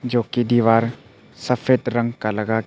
जो कि दीवार सफेद रंग का लगा--